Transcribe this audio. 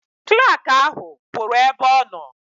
Klak ahụ pụrụ ebe ọ nọ.